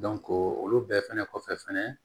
olu bɛɛ fɛnɛ kɔfɛ fɛnɛ